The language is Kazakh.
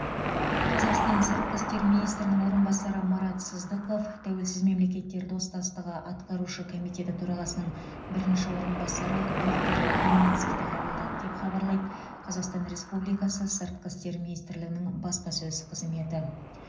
қазақстан сыртқы істер министрінің орынбасары марат сыздықов тәуелсіз мемлекеттер достастығы атқарушы комитеті төрағасының бірінші орынбасары виктор гуминскийді қабылдады деп хабарлайды қазақстан республикасы сыртқы ішкі министрлігінің баспасөз қызметі